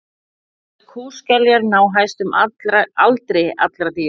svonefndar kúskeljar ná hæstum aldri allra dýra